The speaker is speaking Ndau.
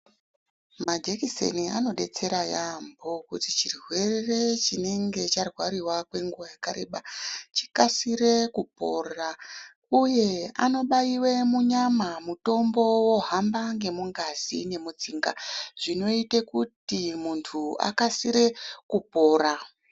Majekiseni anodetsera yaamho kuti chirwere chinenge charwariwa kwenguwa yakareba, chikasire kupora, uye anobaiwe munyama mutombo wohamba ngemungazi nemutsinga, zvinoite kuti muntu akasire kupora.